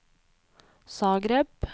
Zagreb